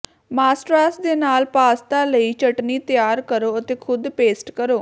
ਮਾਸਟ੍ਰਾਸ ਦੇ ਨਾਲ ਪਾਸਤਾ ਲਈ ਚਟਣੀ ਤਿਆਰ ਕਰੋ ਅਤੇ ਖ਼ੁਦ ਪੇਸਟ ਕਰੋ